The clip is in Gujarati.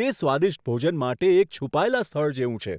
તે સ્વાદિષ્ટ ભોજન માટે એક છુપાયેલા સ્થળ જેવું છે!